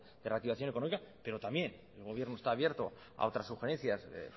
de reactivación económica pero también el gobierno está abierto a otras sugerencias de